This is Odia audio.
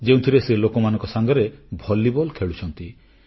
ଯେଉଁଥିରେ ସେ ଲୋକମାନଙ୍କ ସାଙ୍ଗରେ ଭଲିବଲ୍ ଖେଳୁଛନ୍ତି